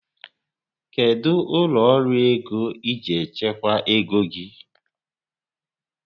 Kedụ ụlọ ọrụ ego iji echekwa ego gị?